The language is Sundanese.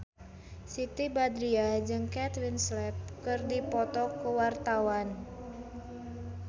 Siti Badriah jeung Kate Winslet keur dipoto ku wartawan